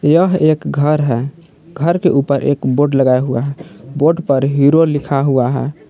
यह एक घर है घर के ऊपर एक बोड लगा हुआ है बोड पर हीरो लिखा हुआ है।